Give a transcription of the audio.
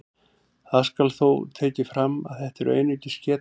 Það skal þó tekið fram að þetta eru einungis getgátur.